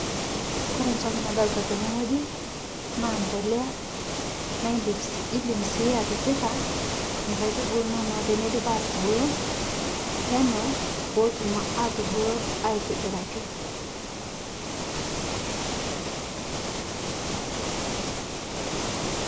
Kore ntoki nadolita tene ng'oji naa mpolea naa indim sii atipika nkaitubulu inonoo teneidip atubuluu pootum atubulu aitibiraki.